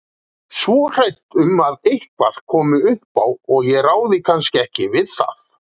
Svo hrædd um að eitthvað komi upp á og ég ráði kannski ekki við það.